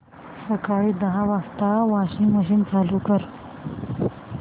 सकाळी दहा वाजता वॉशिंग मशीन चालू कर